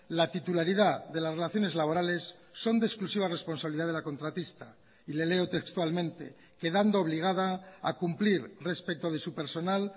la titularidad de las relaciones laborales son de exclusiva responsabilidad de la contratista y le leo textualmente quedando obligada a cumplir respecto de su personal